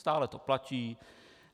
Stále to platí?